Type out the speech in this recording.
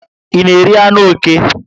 I na eri anụ oké?